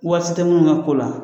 Waati tɛ minnu ka ko la